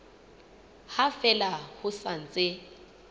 ha fela ho sa ntse